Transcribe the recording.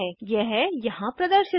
यह यहाँ प्रदर्शित है